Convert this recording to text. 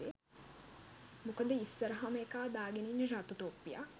මොකද ඉස්සරහම එකා දාගන ඉන්නෙ රතු තොප්පියක්.